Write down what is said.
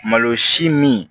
Malo si min